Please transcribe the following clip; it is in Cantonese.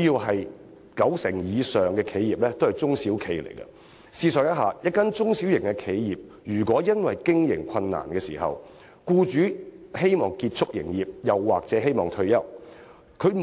香港九成以上的企業都是中小型企業，試想一下，一間中小企因為經營困難，僱主希望結束營業或退休，